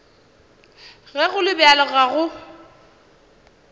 ge go le bjalo go